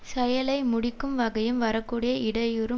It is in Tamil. செயலை முடிக்கும் வகையும் வரக்கூடிய இடையூறும்